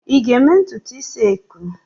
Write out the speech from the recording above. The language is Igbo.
ị ga-eme ntutu isi eko?